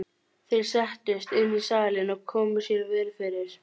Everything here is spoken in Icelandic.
Þeir settust inn í salinn og komu sér vel fyrir.